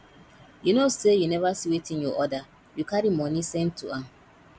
you know say you never see wetin you order you carry money send to am